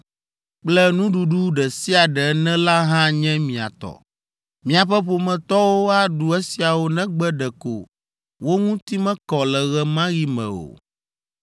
kple nuɖuɖu ɖe sia ɖe ene la hã nye mia tɔ. Miaƒe ƒometɔwo aɖu esiawo negbe ɖeko wo ŋuti mekɔ le ɣe ma ɣi me o.